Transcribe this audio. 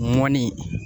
Mɔni